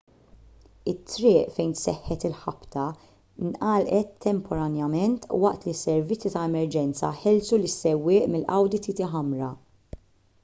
it-triq fejn seħħet il-ħabta ngħalqet temporanjament waqt li s-servizzi ta' emerġenza ħelsu lis-sewwieq mill-audi tt ħamra